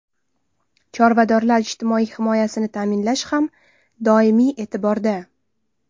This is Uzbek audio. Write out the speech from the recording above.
Chorvadorlar ijtimoiy himoyasini ta’minlash ham doimiy e’tiborda.